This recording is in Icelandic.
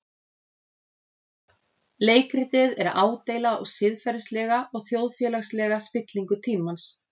Leikritið er ádeila á siðferðilega og þjóðfélagslega spillingu tímans.